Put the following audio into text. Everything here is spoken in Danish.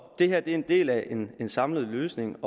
det her er en del af en samlet løsning